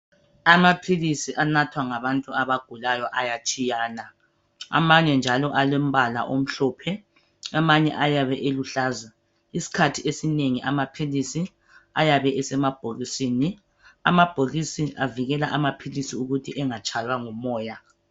Amaphilisi anathwa ngabantu abagulayo ayatshiyana .Amanye njalo alombala omhlophe amanye ayabe eluhlaza isikhathi esinengi amaphilisi ayabe esemabhokisini . Amabhokisi avikela amaphilisi ukuthi engatshaywa ngumoya .